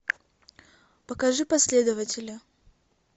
покажи последователя